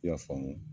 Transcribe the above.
I y'a faamu